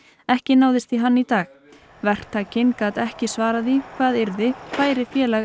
ekki náðist í hann í dag verktakinn gat ekki svarað því hvað yrði færi Félag